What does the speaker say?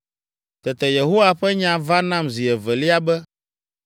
Tete Yehowa ƒe nya va nam zi evelia be,